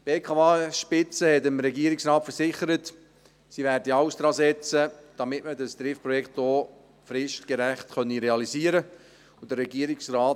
Die BKW-Spitze versicherte dem Regierungsrat, dass sie alles daran setze werde, dass man das Trift-Projekt auch fristgerecht realisieren könne.